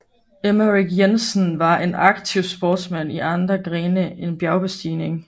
Emmerik Jensen var en aktiv sportsmand i andre grene end bjergbestigning